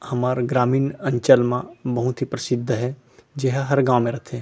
हमर ग्रामीण अंचल मा बहुत ही प्रसिद्ध हे जेहा हर गाव म रथे--